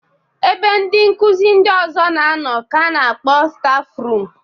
Ebe ndị nkuzi ndị ọzọ na-anọ ka a na-akpọ stafrum.